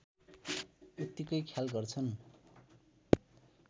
उत्तिकै ख्याल गर्छन्